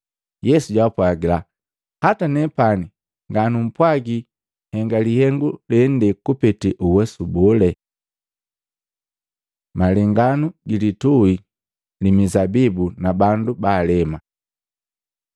Yesu japwaaga, “Hata nepani nganumpwagi henga lihengu lende kupete uwesu bole.” Malenganu gilituhi li Mizabibu na bandu baalema Matei 21:33-46; Maluko 12:1-12